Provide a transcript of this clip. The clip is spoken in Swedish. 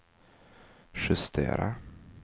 justera